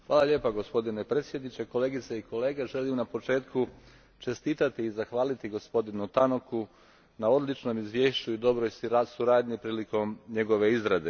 Gospodine predsjedniče, kolegice i kolege, želim na početku čestitati i zahvaliti gospodinu Tannocku na odličnom izvješću i dobroj suradnji prilikom njegove izrade.